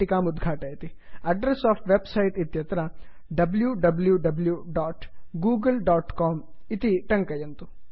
address of website address of website इत्यत्र wwwgooglecom W W W dot Google dot com इति टङ्कयन्तु